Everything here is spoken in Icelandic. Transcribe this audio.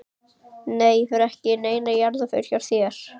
Nei ég fer ekki í neina jarðarför hjá þér.